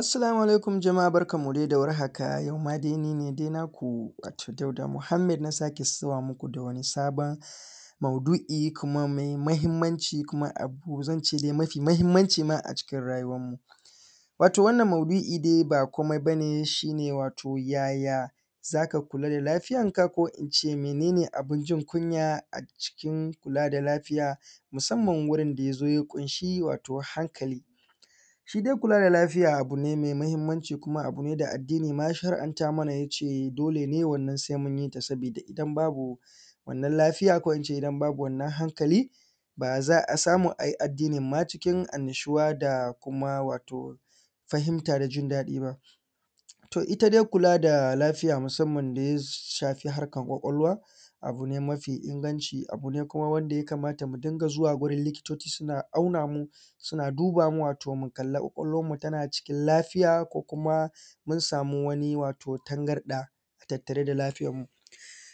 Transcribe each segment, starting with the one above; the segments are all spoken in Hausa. Assalamu aliakum, jama`a barkan mu dai da war haka imma dai ni ne dai naku wato Dauda Muhammed na sake zuwa muku da wani sabon maudu`i kuma mai mahimmanci kuma a ba zan ce dai mafi mahimmanci ma a cikin rayuwan mu, wato wannan maudu`i dai ba komai ba ne shi ne yaya zaka kula da lafiyar ka ko ince mene ne abin jin kunya a cikin kula da lafiya musamman wurin da yazo ya ƙunshi hankali, shi dai kula da lafiya abu ne mai mahimmanci kuma abu ne da addini ma ya shara`anta mana yace dole ne wannan sai munyi ta sabida idan babu wannan lafiya ko ince idan babu wannan hankali ba za a samu ayi addinin ma cikin annashuwa da kuma wato fahintar jin daɗi ba, to ita dai kula da lafiya musamman da ya shafi harkan ƙwaƙwalwa abu ne mafi inganci abu ne kuma wanda ya kamata mu dinga zuwa wurin likitoci suna auna mu suna duba mu wato mu kalli ƙwaƙwalwan mu tana cikin lafiya ko kuma mun samu wani wato tangarɗa a tattare da lafiyar mu,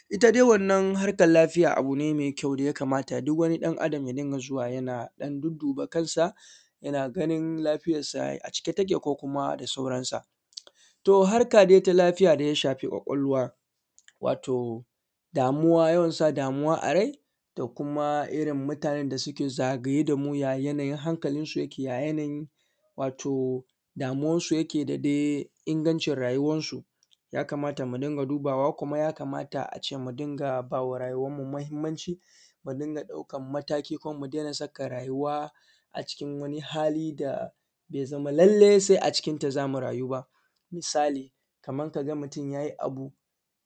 ita dai wannan harkan lafiya abu ne mai kyau da yaka mata duk wani ɗan Adam ya dinga zuwa yana ɗan duddu ba kansa yana ganin lafiyar sa a cike take ko kuma da sauran sa, to harka dai ta lafiya da ya shafi ƙwaƙwalwa wato damuwa yawan sa damuwa a rai da kuma irin mutanen da suke zagaye da mu ya yanayin hankalin su yake ya yanayin wato damuwan su yake da dai ingancin rayuwan su ya kamata mu dinga dubawa kuma ya kamata a ce mu dinga ba rayuwan mu mahimmanci mu dinga ɗaukan mataki kuma mu daina saka rayuwa a cikin wani hali da ya zama lallai sai a cikin ta zamu rayu ba,, misali kaman kaga mutum yayi abu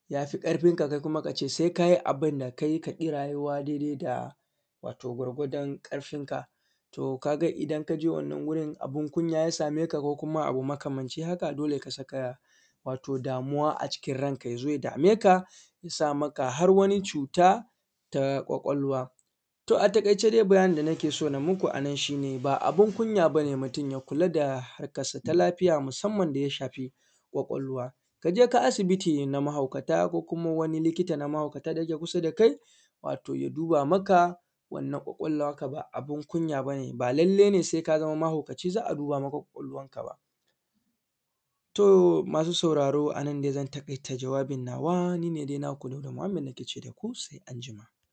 yafi ƙarfin ka kai kuma kace sai kayi abin kai ka bi rayuwa daidai da wato gwargwadon ƙarfin ka to kaga idan kaje wannan wurin abin kunya ya same ka kuma abu makamancin haka dole ka sakaya wato damuwa a cikin ran ka ya zo ya dameka yasa maka har wani cuta ta ƙwaƙwalwa. To a taƙaice dai bayanin da nake so na muku a nan shi ne ba abin kunya ba ne mutum ya kula da harkan sa ta lafiya musamman da ya shafi ƙwaƙwalwa ka je ka asibiti na mahaukata ko kuma wani likita na mahaukata da yake kusa da kai wato ya duba maka wannan ƙwaƙwalwa naka ba abin kunya ba ne, ba lallai ne sai ka zama mahaukaci za a duba maka ƙwaƙwalwan ka ba, to masu sauraro a nan dai zan taƙaita jawabin nawa ni ne dai naku Dauda Muhammed nake ce.